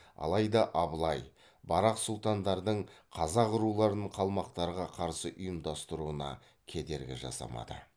алайда абылай барақ сұлтандардың қазақ руларын қалмақтарға қарсы ұйымдастыруына кедергі жасамады